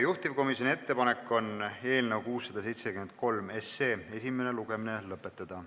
Juhtivkomisjoni ettepanek on eelnõu 673 esimene lugemine lõpetada.